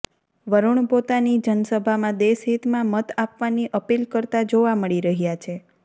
વરૂણ પોતાની જનસભામાં દેશહિતમાં મત આપવાની અપીલ કરતા જોવા મળી રહ્યા છે